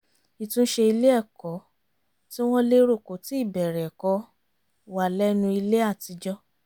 ìtúnṣe ilé-ẹ̀kọ́ tí wọ́n lérò kò tíì bẹ̀rẹ̀ ẹ̀kọ́ wà lẹ́nu ilé àtijọ́